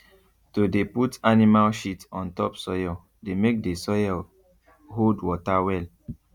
to dey put animal shit on top soil dey make the soil hold water well